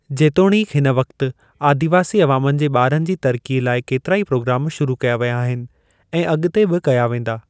जेतोणीकि हिन वक़्त आदिवासी अवामनि जे ॿारनि जी तरक़ीअ लाइ केतिराई प्रोग्राम शुरू कया विया आहिनि ऐं अॻिते बि कया वेंदा।